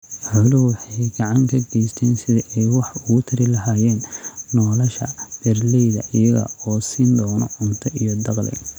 Xooluhu waxa ay gacan ka geystaan sidii ay wax uga tari lahaayeen nolosha beeralayda iyaga oo siin doona cunto iyo dakhli.